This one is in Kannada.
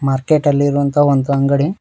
ಮಾರ್ಕೆಟ್ ಅಲ್ಲಿ ಇರುವಂತಹ ಒಂದು ಅಂಗಡಿ.